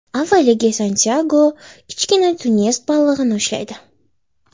Avvaliga Santyago kichkina tunets balig‘ini ushlaydi.